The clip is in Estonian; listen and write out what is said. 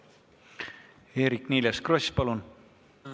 Eerik-Niiles Kross, palun!